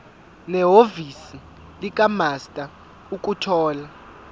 nehhovisi likamaster ukuthola